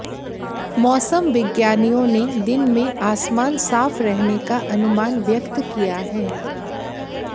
मौसम विज्ञानियों ने दिन में आसमान साफ रहने का अनुमान व्यक्त किया है